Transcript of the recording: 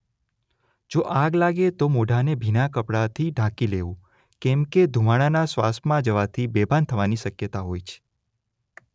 જો આગ લાગે તો મોઢાને ભીના કપડાથી ઢાંકી લેવું કેમકે ધુમાડાના શ્વાસમાં જવાથી બેભાન થવાની શક્યતા હોય છે.